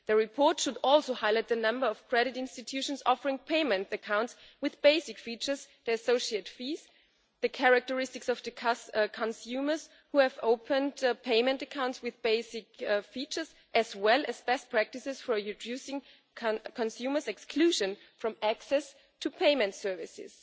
The report should also highlight the number of credit institutions offering payment accounts with basic features, the associate fees, the characteristics of the consumers who have opened payment accounts with basic features, as well as best practices for reducing consumers' exclusion from access to payment services.